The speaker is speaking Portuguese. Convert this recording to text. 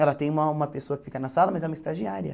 Ela tem uma uma pessoa que fica na sala, mas é uma estagiária.